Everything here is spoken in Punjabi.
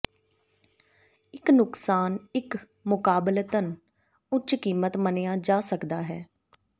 ਇੱਕ ਨੁਕਸਾਨ ਇੱਕ ਮੁਕਾਬਲਤਨ ਉੱਚ ਕੀਮਤ ਮੰਨਿਆ ਜਾ ਸਕਦਾ ਹੈ